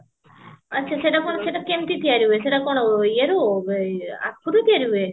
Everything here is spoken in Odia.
ଆଚ୍ଛା ସେଟା କଣ ସେଟା କେମତି ତିଆରି ହୁଏ ସେଟା କଣ ଇଏରୁ ଆଖୁରୁ ତିଆରି ହୁଏ